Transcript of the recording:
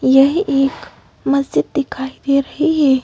यह एक मस्जिद दिखाई दे रही है।